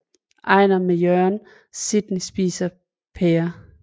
Einar med Jørgen og Sidney spiser pærer